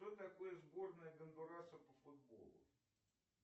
кто такой сборная гондураса по футболу